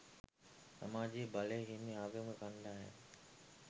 සමාජයේ බලය හිමි ආගමික කණ්ඩායම්